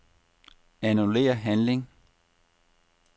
Annullér handling.